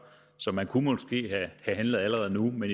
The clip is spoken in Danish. så man kunne måske have handlet allerede nu men